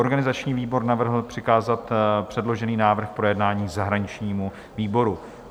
Organizační výbor navrhl přikázat předložený návrh k projednání zahraničnímu výboru.